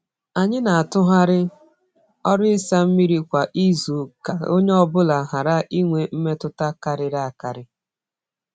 Anyị na-atụgharị ọrụ ịsa mmiri kwa izu ka onye ọ bụla ghara inwe mmetụta karịrị akarị.